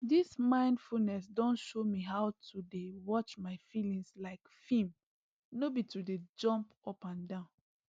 dis mindfulness don show me how to dey watch my feelings like film no be to jump up and down